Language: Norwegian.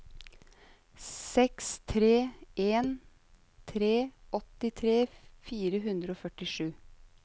seks tre en tre åttitre fire hundre og førtisju